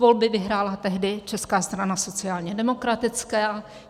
Volby vyhrála tehdy Česká strana sociálně demokratická.